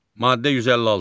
Maddə 156.